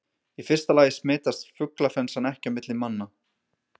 Í fyrsta lagi smitast fuglaflensan ekki á milli manna.